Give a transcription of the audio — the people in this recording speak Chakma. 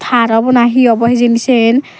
tar obo na he obo hijeni sen.